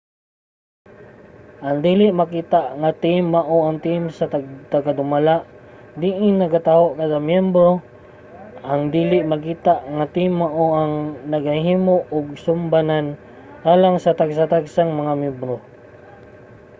ang dili makita nga team mao ang team sa tagdumala diin nagataho kada miyembro. ang dili makita nga team mao ang nagahimo og sumbanan alang sa tagsa-tagsang mga miyembro